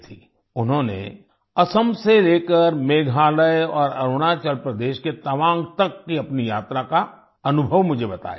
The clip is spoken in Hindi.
उन्होंने असम से लेकर मेघालय और अरुणाचल प्रदेश के तवांग तक की अपनी यात्रा का अनुभव मुझे बताया